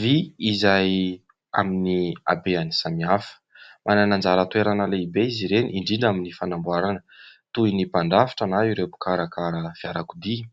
Vy izay amin'ny habeany samihafa, manana anjara toerana lehibe izy ireny indrindra amin'ny fanamboarana, toy ny mpandrafitra na ireo mpikarakara fiarakodia,